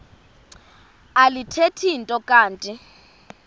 alithethi nto kanti